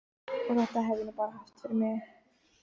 Og þetta hef ég nú bara haft fyrir mig.